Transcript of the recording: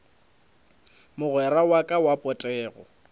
mogwera wa ka wa potego